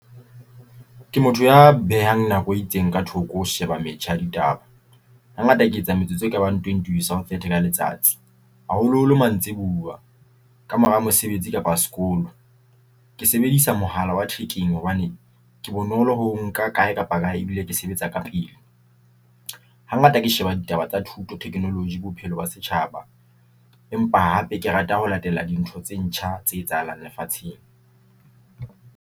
Ke motho ya behang nako e itseng ka thoko ho sheba metjha ya ditaba. Ha ngata ke etsa metsotso e ka bang twenty ho isa ho thirty ka letsatsi haholoholo mantsiboya ka mora mosebetsi kapa sekolo. Ke sebedisa mohala wa thekeng hobane ke bonolo ho o nka kae kapa kae e bile ke sebetsa ka pele. Ha ngata ke sheba ditaba tsa thuto, technology bophelo ba setjhaba empa hape ke rata ho latela dintho tse ntjha tse etsahalang lefatsheng.